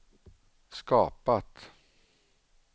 skapat